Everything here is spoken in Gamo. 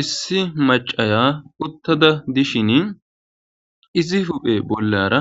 issi macaya uttada dishin izi huphe bollara